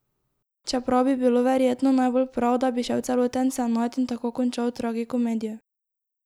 Čeprav bi bilo verjetno najbolj prav, da bi šel celoten senat in tako končal tragikomedijo.